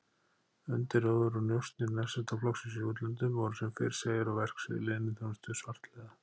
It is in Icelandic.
Undirróður og njósnir Nasistaflokksins í útlöndum voru sem fyrr segir á verksviði leyniþjónustu svartliða